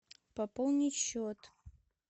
пополнить счет